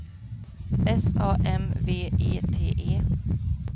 S A M V E T E